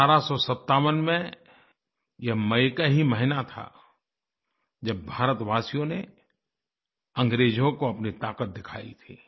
1857 में ये मई का ही महीना था जब भारतवासियों ने अंग्रेजों को अपनी ताकत दिखाई थी